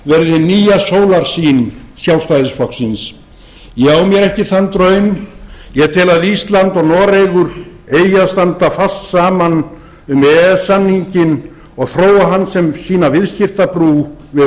verði hin nýja sólarsýn sjálfstæðisflokksins ég á mér ekki þann draum ég tel að ísland og noregur eigi að standa fast saman um e e s samninginn og þróa hann sem sína viðskiptabrú við